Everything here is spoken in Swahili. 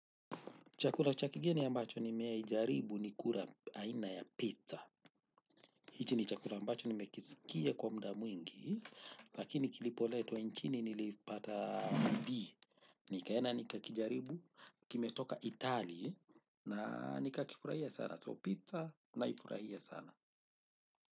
Chakula cha kigeni ambacho nimewai jaribu ni kula aina ya pizza. Hichi ni chakula ambacho nimekisikia kwa muda mwingi, lakini kilipoletwa nchini nilipata B. Nikaenda nikakijaribu, kimetoka Italy, na nikakifurahia sana. So pizza naifurahia sana.